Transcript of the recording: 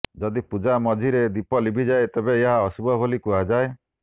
ଯଦି ପୂଜା ମଝିରେ ଦୀପ ଲିଭିଯାଏ ତେବେ ଏହା ଅଶୁଭ ବୋଲି କୁହାଯାଏ